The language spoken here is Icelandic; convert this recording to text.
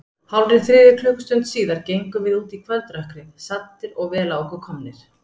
Hálfri þriðju klukkustund síðar gengum við út í kvöldrökkrið, saddir og vel á okkur komnir.